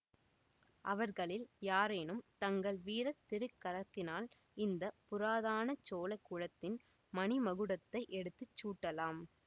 அவர்களில் யாரேனும் தங்கள் வீர திருக் கரத்தினால் இந்த புராதன சோழ குலத்தின் மணிமகுடத்தை எடுத்து சூட்டலாம்